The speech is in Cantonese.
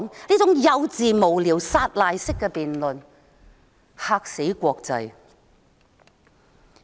這種幼稚、無聊和撒賴式的辯論，簡直便嚇壞國際社會。